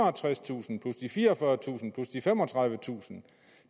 og tredstusind plus de fireogfyrretusind plus de femogtredivetusind